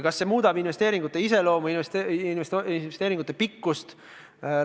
Kas see muudab investeeringute iseloomu, investeeringute pikkust?